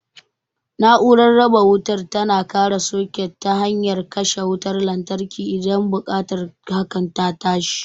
Na'urar raba wutar tana kare sikut ta hanyar katse wutar lantarki idan buƙatar hakan ta tashi.